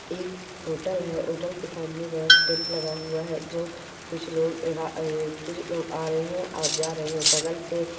hotel है hotel के सामने बड़ा स्टैन्ड लगा हुआ है जो कुछ लो लोग आ रहे है जा रहे है और जा रहे बगल से--